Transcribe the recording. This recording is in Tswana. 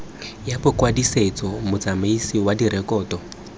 ya bokwadisetso motsamaisi wa direkoto